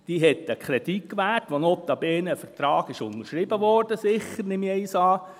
Sie hat einen Kredit gewährt, für den notabene sicher ein Vertrag unterschrieben wurde, nehme ich einmal an.